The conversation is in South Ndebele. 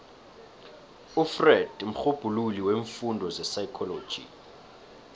ufreud mrhubhululi weemfundo zepsychology